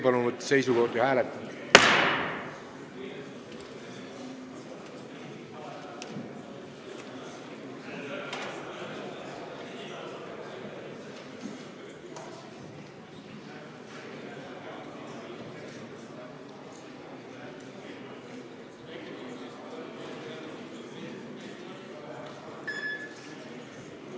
Palun võtta seisukoht ja hääletada!